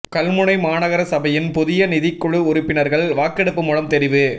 கல்முனை மாநகர சபையின் புதிய நிதிக் குழு உறுப்பினர்கள் வாக்கெடுப்பு மூலம் தெரிவு